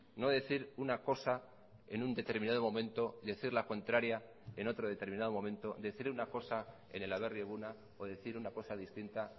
no decir una cosa en un determinado momento decir la contraria en otro determinado momento decir una cosa en el aberri eguna o decir una cosa distinta